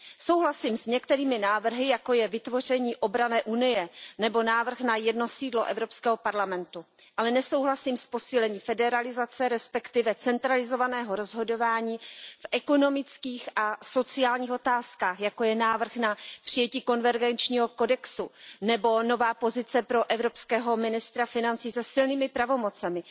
Souhlasím s některými návrhy, jako je vytvoření obranné unie nebo návrh na jedno sídlo Evropského parlamentu, ale nesouhlasím s posílením federalizace, respektive centralizovaného rozhodování v ekonomických a sociálních otázkách, jako je návrh na přijetí konvergenčního kodexu nebo nová pozice pro evropského ministra financí se silnými pravomocemi.